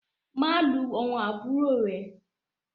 Má lù àwọn àbúrò rẹ!